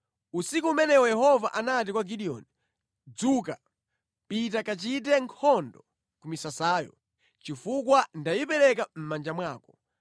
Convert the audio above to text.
Usiku umenewo Yehova anati kwa Gideoni, “Dzuka, pita kachite nkhondo ku misasayo, chifukwa ndayipereka mʼmanja mwako.